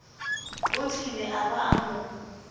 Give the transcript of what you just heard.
otlile a ba a mo